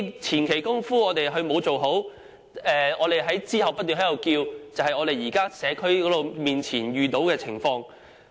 前期工夫不做好，事後才不斷提出要求，這便是我們社區目前遇到的情況。